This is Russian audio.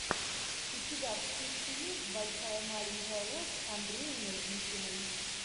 у тебя в списке есть большая маленькая ложь с андреем мерзликиным